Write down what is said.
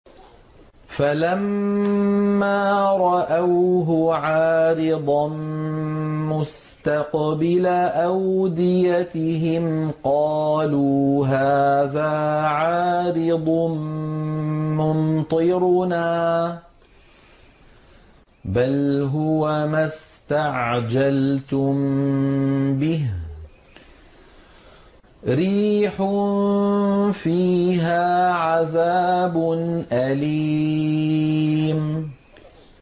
فَلَمَّا رَأَوْهُ عَارِضًا مُّسْتَقْبِلَ أَوْدِيَتِهِمْ قَالُوا هَٰذَا عَارِضٌ مُّمْطِرُنَا ۚ بَلْ هُوَ مَا اسْتَعْجَلْتُم بِهِ ۖ رِيحٌ فِيهَا عَذَابٌ أَلِيمٌ